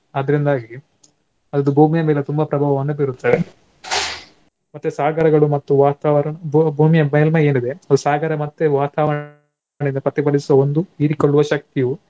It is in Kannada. ಆದ್ರಿಂದಾಗಿ ಅದು ಭೂಮಿಯ ಮೇಲೆ ತುಂಬಾ ಪ್ರಭಾವವನ್ನು ಬೀರುತ್ತವೆ . ಮತ್ತೆ ಸಾಗರಗಳು ಮತ್ತು ವಾತಾವರಣ ಭೂ~ ಭೂಮಿಯ ಮೇಲ್ಮಯಿ ಏನಿದೆ ಅದು ಸಾಗರ ಮತ್ತೆ ವಾತಾವರಣದಿಂದ ಪ್ರತಿಭಲಿಸುವ ಒಂದು ಹೀರಿಕೊಳ್ಳುವ ಶಕ್ತಿಯು